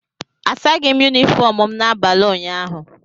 Asaghị m Yunifọm m n'abalị ụnyaahụ